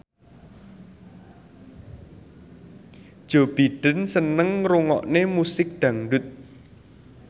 Joe Biden seneng ngrungokne musik dangdut